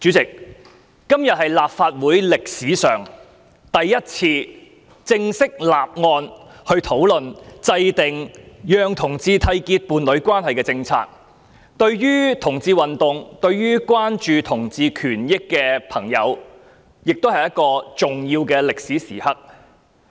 主席，今天是立法會歷史上首次正式討論制訂讓同志締結伴侶關係的政策，對同志運動、關注同志權益的朋友來說，這亦是一個重要的歷史時刻。